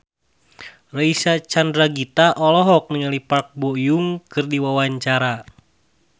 Reysa Chandragitta olohok ningali Park Bo Yung keur diwawancara